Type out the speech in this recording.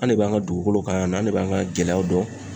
An ne b'an ga dugukolow ka yan nɔ an ne b'an ga gɛlɛyaw dɔn